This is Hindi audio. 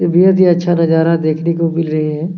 बेहद ही अच्छा नजारा देखने को मिल रही है |